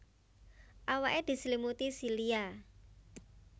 Awake diselimuti silia